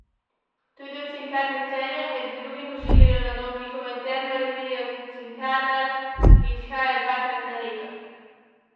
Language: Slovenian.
Tudi v Cinkarni Celje med drugim pošiljajo na dom njihovo interno revijo Cinkarnar, ki izhaja dvakrat na leto.